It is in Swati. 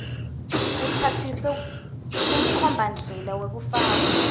utsatsise kumkhombandlela wekufaka